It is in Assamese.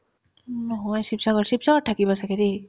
উম্, নহয় ছিপসাগৰ ছিপসাগৰত থাকে বা ছাগে দেই